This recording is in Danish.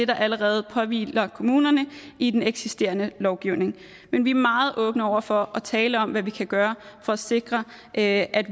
der allerede påhviler kommunerne i den eksisterende lovgivning men vi er meget åbne over for at tale om hvad vi kan gøre for at sikre at